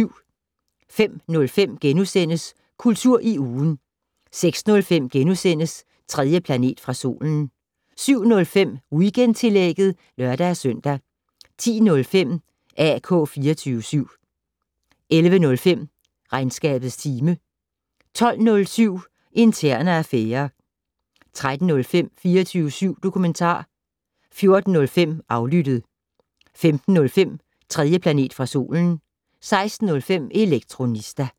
05:05: Kultur i ugen * 06:05: 3. planet fra solen * 07:05: Weekendtillægget (lør-søn) 10:05: AK 24syv 11:05: Regnskabets time 12:07: Interne affærer 13:05: 24syv dokumentar 14:05: Aflyttet 15:05: 3. planet fra solen 16:05: Elektronista